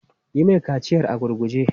Yi mai kaciyar a gurguje!